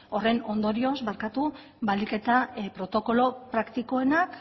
horren ondorioz ahalik eta protokolo praktikoenak